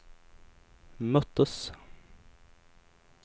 möttes